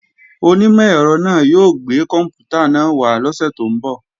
Onímọ̀ ẹ̀rọ náà yóò gbé kòǹpútà náà wá lọ́sè tó ń bọ̀